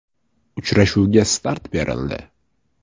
Uchrashuvga start berildi!